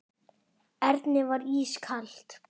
Erni var ískalt.